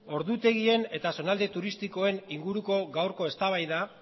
ordutegien eta zonalde turistikoen inguruko gaurko eztabaida